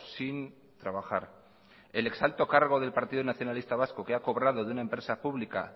sin trabajar el ex alto cargo del partido nacionalista vasco que ha cobrado de una empresa pública